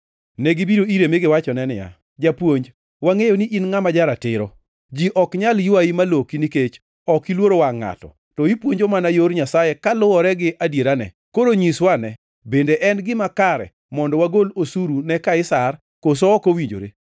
Negibiro ire mi giwachone niya, “Japuonj wangʼeyo ni in ngʼama ja-ratiro. Ji ok nyal ywayi maloki nikech ok iluoro wangʼ ngʼato, to ipuonjo mana yor Nyasaye kaluwore gi adierane. Koro nyiswa ane, bende en gima kare mondo wagol osuru ne Kaisar koso ok owinjore?